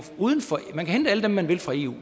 hente alle dem man vil fra eu